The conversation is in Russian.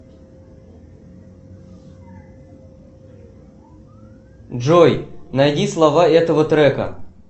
джой найди слова этого трека